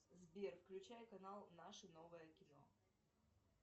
сбер включай канал наше новое кино